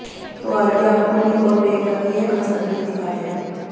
तो आइए आपको निक और प्रियंका की यह खास तस्वीरे दिखाते हैं